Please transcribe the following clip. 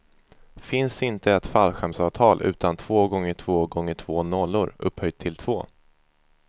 Finns inte ett fallskärmsavtal utan två gånger två gånger två nollor, upphöjda till två.